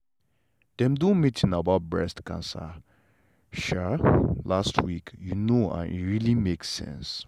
dem do meeting about breast cancer um last week you know and e really make sense.